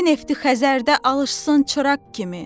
Bakı nefti Xəzərdə alışsın çıraq kimi.